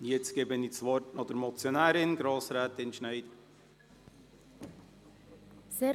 Jetzt gebe ich das Wort der Motionärin, Grossrätin Schneider.